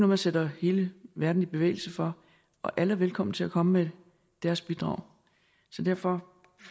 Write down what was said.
man sætter hele verden i bevægelse for og alle er velkomne til at komme med deres bidrag så derfor